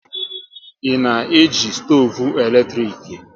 Ị na eji stoovu eletrik?